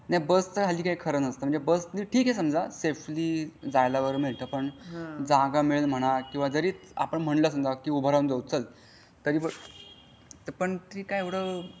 नाही बस चा हल्ली काही खरा नास्ता म्हणजे बसनी ठीक आहे समझ सफेली जपायला मिळत पण जागा मिळेल म्हणा किंवा आपण म्हंटलं कि उभा राहून जाऊ चाल